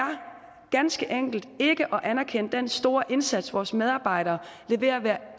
ganske enkelt ikke at anerkende den store indsats vores medarbejdere leverer hver